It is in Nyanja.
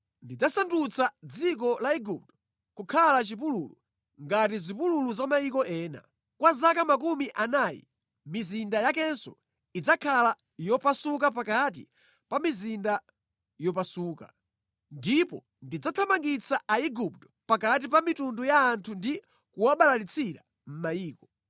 Ndidzasandutsa dziko la Igupto kukhala chipululu ngati zipululu za mayiko ena. Kwa zaka makumi anayi mizinda yakenso idzakhala yopasuka pakati pa mizinda yopasuka. Ndipo ndidzathamangitsira Aigupto pakati pa mitundu ya anthu ndi kuwabalalitsira mʼmayiko.